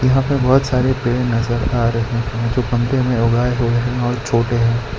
यहां पर बहुत सारे पेड़ नजर आ रहे हैं जो पंक्ति में उगाए हुए हैं और छोटे हैं।